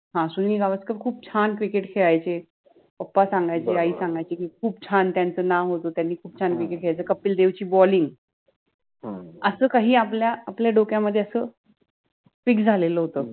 हा सुनिल गावस्कर खूप छान cricket खेळायचे, पप्पा सांगायचे आई सांगायचि कि खूप छान त्यांच नाव होत, त्यानि खुप चांगले खेळायचे, कपिल देव चि BALLING अस काहि आपल्या दोकयामधे अस FIX झालेल होत.